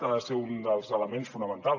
ha de ser un dels elements fonamentals